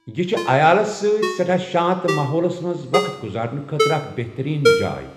یہِ چھِ عیالس سۭتۍ سٮ۪ٹھاہ شانَت ماحولَس منٛز وَقت گزارنہٕ خٲطرٕ اکھ بہترین جاۓ۔